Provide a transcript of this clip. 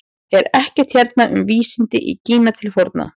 Er ekkert hérna um vísindi í Kína til forna?